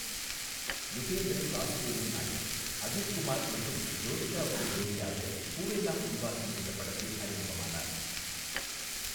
யுகேந்திரன் வாசுதேவன் நாயர் அஜித் குமார் மற்றும் ஜோதிகாவுக்கு ஜோடியாக பூவெல்லம் உன் வாசம் என்ற படத்தில் அறிமுகமானார்.